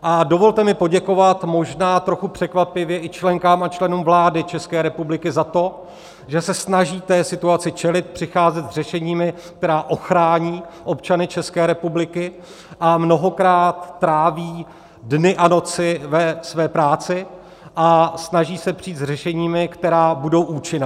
A dovolte mi poděkovat možná trochu překvapivě i členkám a členům vlády České republiky za to, že se snaží té situaci čelit, přicházet s řešeními, která ochrání občany České republiky, a mnohokrát tráví dny a noci ve své práci a snaží se přijít s řešeními, která budou účinná.